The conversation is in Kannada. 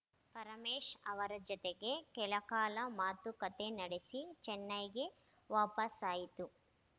ಪರಮೇಶ್‌ ಅವರ ಜತೆಗೆ ಕೆಲಕಾಲ ಮಾತುಕತೆ ನಡೆಸಿ ಚೆನ್ನೈಗೆ ವಾಪಸಾಯಿತು